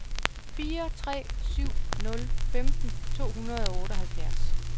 fire tre syv nul femten to hundrede og otteoghalvfjerds